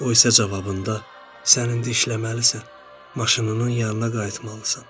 O isə cavabında, sən indi işləməlisən, maşınının yanına qayıtmalısan.